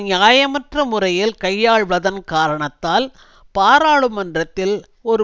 நியாயமற்ற முறையில் கையாள்வதன் காரணத்தால் பாராளுமன்றத்தில் ஒரு